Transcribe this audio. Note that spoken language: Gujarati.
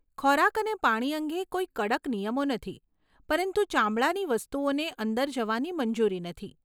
ખોરાક અને પાણી અંગે કોઈ કડક નિયમો નથી પરંતુ ચામડાની વસ્તુઓને અંદર જવાની મંજૂરી નથી.